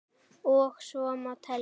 Og svo má telja.